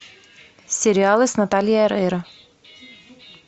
сериалы с натальей орейро